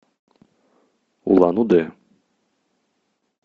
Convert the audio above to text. улан удэ